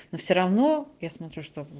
но всё равно я смотрю что в